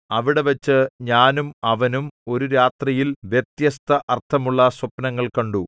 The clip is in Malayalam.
അവിടെവച്ച് ഞാനും അവനും ഒരു രാത്രിയിൽ വ്യത്യസ്ത അർത്ഥമുള്ള സ്വപ്നങ്ങൾ കണ്ടു